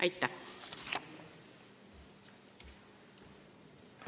Aitäh!